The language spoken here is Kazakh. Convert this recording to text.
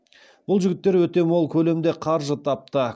бұл жігіттер өте мол көлемде қаржы тапты